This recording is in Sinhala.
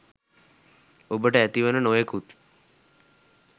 ඔබට ඇතිවන නොයෙකුත්